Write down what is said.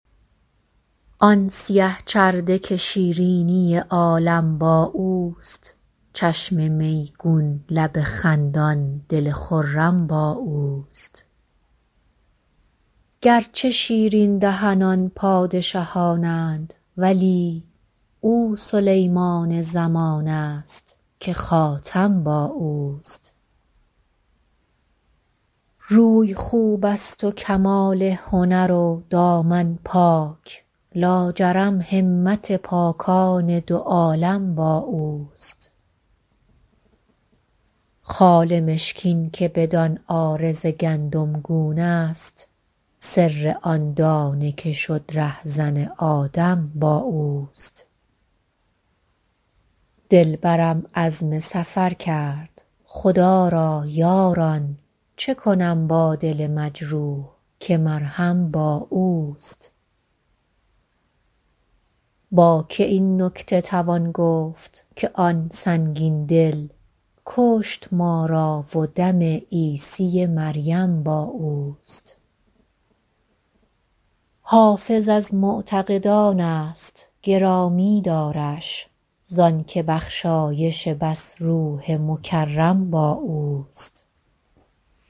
آن سیه چرده که شیرینی عالم با اوست چشم میگون لب خندان دل خرم با اوست گرچه شیرین دهنان پادشهان اند ولی او سلیمان زمان است که خاتم با اوست روی خوب است و کمال هنر و دامن پاک لاجرم همت پاکان دو عالم با اوست خال مشکین که بدان عارض گندمگون است سر آن دانه که شد رهزن آدم با اوست دلبرم عزم سفر کرد خدا را یاران چه کنم با دل مجروح که مرهم با اوست با که این نکته توان گفت که آن سنگین دل کشت ما را و دم عیسی مریم با اوست حافظ از معتقدان است گرامی دارش زان که بخشایش بس روح مکرم با اوست